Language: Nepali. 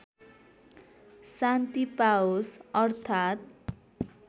शान्ति पाओस् अर्थात्